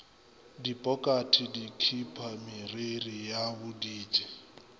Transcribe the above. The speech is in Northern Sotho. dipokate dikhipa meriri ya boditsi